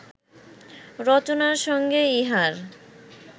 রচনার সঙ্গে ইহার